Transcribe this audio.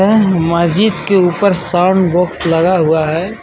यह मस्जिद के ऊपर साउंड बॉक्स लगा हुआ हे.